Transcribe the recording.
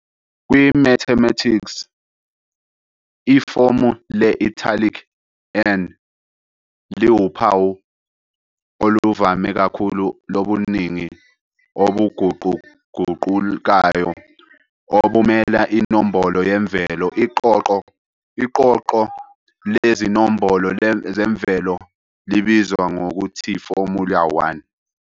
Kwi-mathematics, ifomu le-italic "n" liwuphawu oluvame kakhulu lobuningi obuguquguqukayo obumela inombolo yemvelo. Iqoqo lezinombolo zemvelo libizwa ngokuthiformula_1.